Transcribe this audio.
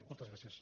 moltes gràcies